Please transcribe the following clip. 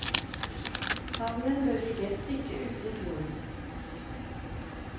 Havnen bør ligge et stykke ute i fjorden.